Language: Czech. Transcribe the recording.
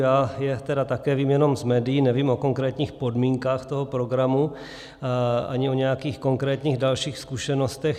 Já je tady také vím jenom z médií, nevím o konkrétních podmínkách toho programu ani o nějakých konkrétních dalších zkušenostech.